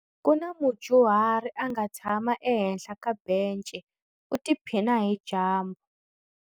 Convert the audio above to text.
Ku na mudyuhari a nga tshama ehenhla ka bence u tiphina hi dyambu.